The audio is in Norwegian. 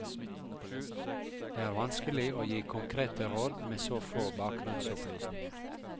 Det er vanskelig å gi konkrete råd med så få bakgrunnsopplysninger.